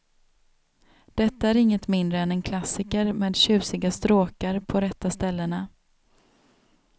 Detta är inget mindre än en klassiker med tjusiga stråkar på rätta ställena.